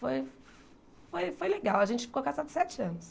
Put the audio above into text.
Foi foi foi legal, a gente ficou casado sete anos.